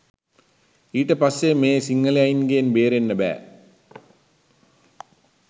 ඊට පස්සේ මේ සිංහලයින්ගෙන් බේරෙන්න බෑ